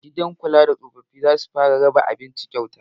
Gidan kula da tsofaffin zasu fara raba abinci kyauta